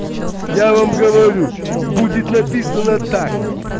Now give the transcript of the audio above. я вам говорю будет написано так